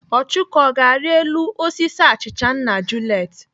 Ọchụko, ọ ga-arị elu osisi achịcha nna Juliet?